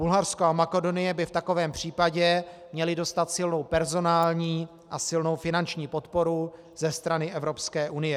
Bulharsko a Makedonie by v takovém případě měly dostat silnou personální a silnou finanční podporu ze strany Evropské unie.